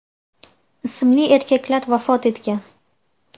ismli erkaklar vafot etgan .